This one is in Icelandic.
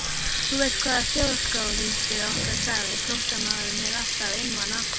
Þú veist hvað þjóðskáldið okkar sagði, flóttamaðurinn er alltaf einmana.